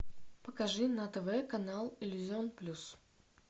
покажи на тв канал иллюзион плюс